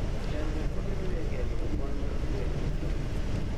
Chandruok mabedoe e geng'o kwan mar gwen matho.